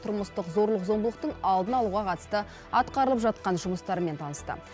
тұрмыстық зорлық зомбылықтың алдын алуға қатысты атқарылып жатқан жұмыстармен танысты